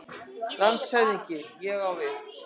LANDSHÖFÐINGI: Ég á við.